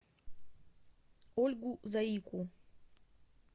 ольгу заику